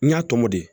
N y'a tɔmɔ de